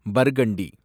burgundy